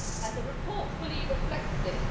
The report fully reflects this.